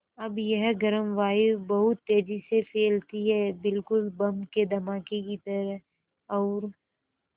अब यह गर्म वायु बहुत तेज़ी से फैलती है बिल्कुल बम के धमाके की तरह और